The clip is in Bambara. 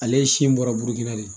Ale ye si in bɔra burukina de